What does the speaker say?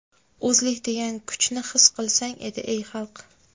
O‘zlik degan kuchni his qilsang.edi ey xalq.